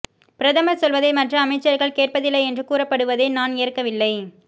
பிரதமர் சொல்வதை மற்ற அமைச்சர்கள் கேட்பதில்லை என்று கூறப்படுவதை நான் ஏற்கவில்லை